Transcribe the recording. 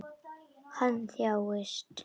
Hann þjáist.